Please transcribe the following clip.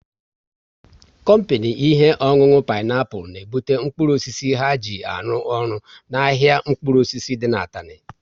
Kompini ihe ọṅụṅụ Peniapụl n'ebute mkpụrụ osisi ha ji arụ ọrụ n' ahịa mkpụrụ osisi dị n' Atani